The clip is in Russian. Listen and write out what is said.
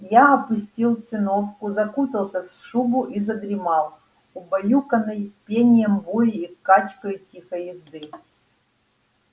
я опустил циновку закутался в шубу и задремал убаюканный пением бури и качкою тихой езды